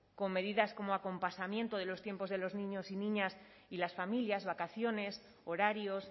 con medidas como acompasamiento de los tiempos de los niños y niñas y las familias vacaciones horarios